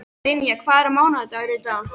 Dynja, hvaða mánaðardagur er í dag?